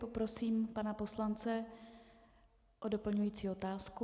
Poprosím pana poslance o doplňující otázku.